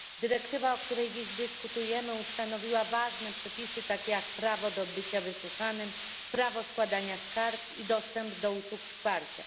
Dyrektywa, o której dziś dyskutujemy ustanowiła ważne przepisy, takie jak prawo do bycia wysłuchanym, prawo składania skarg i dostęp do usług wsparcia.